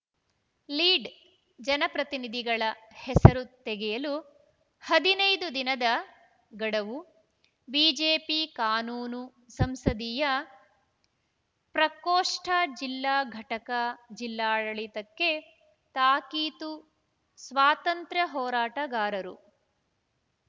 lead ಜನಪ್ರತಿನಿಧಿಗಳ ಹೆಸರು ತೆಗೆಯಲು ಹದಿನೈದು ದಿನದ ಗಡವು ಬಿಜೆಪಿ ಕಾನೂನು ಸಂಸದೀಯ ಪ್ರಕೋಷ್ಟಜಿಲ್ಲಾ ಘಟಕ ಜಿಲ್ಲಾಡಳಿತಕ್ಕೆ ತಾಕೀತು ಸ್ವಾತಂತ್ರ್ಯ ಹೋರಾಟಗಾರರು